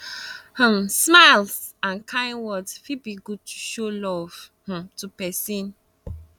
um smiles and kind words fit be good to show um love um to pesin